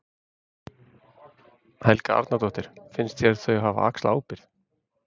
Helga Arnardóttir: Finnst þér þau hafa axlað ábyrgð?